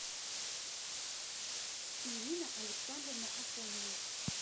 ирина александровна афонина